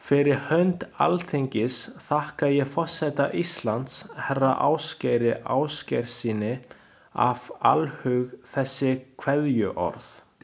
Fyrir hönd Alþingis þakka ég forseta Íslands, herra Ásgeiri Ásgeirssyni, af alhug þessi kveðjuorð.